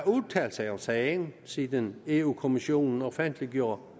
udtalt sig om sagen siden europa kommissionen offentliggjorde